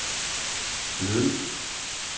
ledelsen